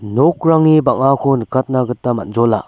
nokrangni bang·ako nikatna gita man·jola.